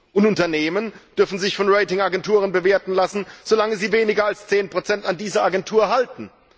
Und Unternehmen dürfen sich von Ratingagenturen bewerten lassen, solange sie weniger als 10 an dieser Agentur halten.